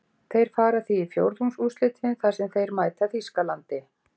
Þeir fara því í fjórðungsúrslitin þar sem þeir mæta Þýskalandi.